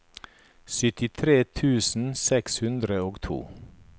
syttitre tusen seks hundre og to